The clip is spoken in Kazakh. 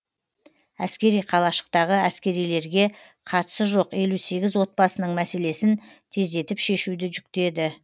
әскери қалашықтағы әскерилерге қатысы жоқ елу сегіз отбасының мәселесін тездетіп шешуді жүктеді